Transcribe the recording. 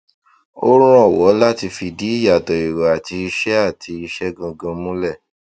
ó rànwọ láti fìdí ìyàtọ èrò àti ìṣe àti ìṣe gangan múlẹ